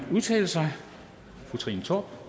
udtale sig fru trine torp